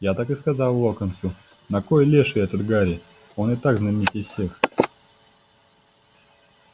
я так и сказал локонсу на кой леший этот гарри он и так знаменитей всех